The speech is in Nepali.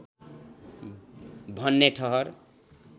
भन्ने ठहर